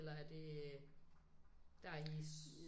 Eller er det der i